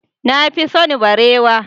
Na fi son barewa.